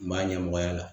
N b'a ɲɛmɔgɔya la